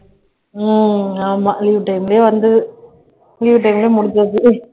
உம் ஆமா leave time லயே வந்து leave time ல முடிஞ்சது